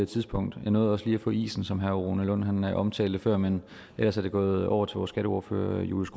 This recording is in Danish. tidspunkt og jeg nåede også lige at få isen som herre rune lund omtalte før men ellers er det gået over til vores skatteordfører julius